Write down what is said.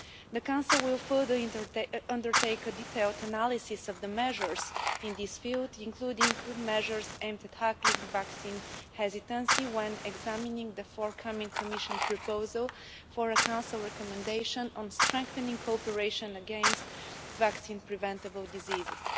The Council will further undertake a detailed analysis of the measures in this field, including measures aimed at tackling vaccine hesitancy, when examining the forthcoming Commission proposal for a Council Recommendation on Strengthening Cooperation against Vaccine-Preventable Diseases.